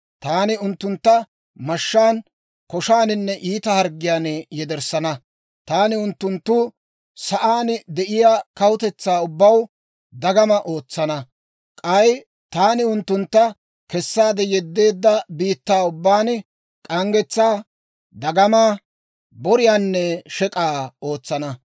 Taani unttuntta mashshaan, koshaaninne iita harggiyaan yederssana; taani unttunttu sa'aan de'iyaa kawutetsaa ubbaw dagamaa ootsana. K'ay taani unttuntta kessaade yeddeedda biittaa ubbaan k'anggetsaa, dagama, boriyaanne shek'k'aa ootsana.